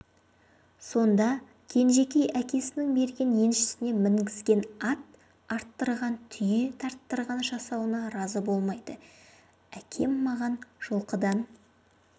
сонда кенжекей әкесінің берген еншісіне мінгізген ат арттырған түйе тарттырған жасауына разы болмайды әкем маған жылқыдан